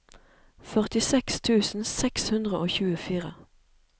førtiseks tusen seks hundre og tjuefire